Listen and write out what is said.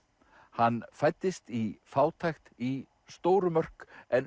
hann fæddist í fátækt í stóru Mörk en